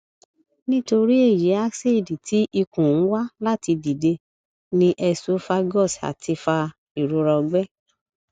nitori eyi acid ti ikun n wa lati dide ni esophagus ati fa irora ọgbẹ